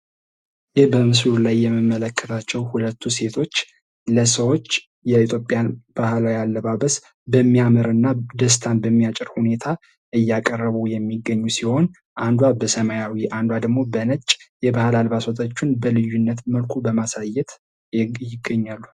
ይህ በምሥሉ ላይ የሚመለከታቸው ሁለቱ ሴቶች ለሰዎች የኢትዮጵያን ባህላዊ አለባበስ በሚያምር እና ደስታን በሚያጭር ሁኔታ እያቀረቡ የሚገኙ ሲሆን፤ አንዷ በሰማያዊ አንዷ ደግሞ በነጭ የባህል አልባሳቶቹን በልዩነት መልኩ በማሳየት ይገኛሉ።